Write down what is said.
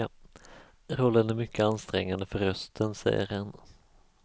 Rollen är mycket ansträngande för rösten, säger han.